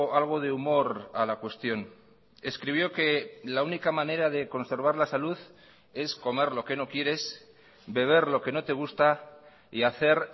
algo de humor a la cuestión escribió que la única manera de conservar la salud es comer lo que no quieres beber lo que no te gusta y hacer